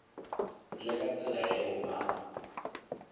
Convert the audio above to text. le ka tsela yeo ba